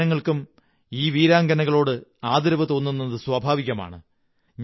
എല്ലാ ജനങ്ങള്ക്കും ഈ വീരാംഗനകളോട് ആദരവു തോന്നുന്നത് സ്വാഭാവികമാണ്